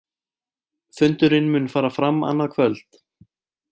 Fundurinn mun fara fram annað kvöld